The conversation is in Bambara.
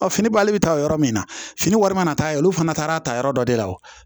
fini bali bɛ taa yɔrɔ min na fini wari mana taa ye olu fana taara a ta yɔrɔ dɔ de la